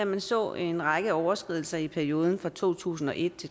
vi så en række overskridelser i perioden to tusind og et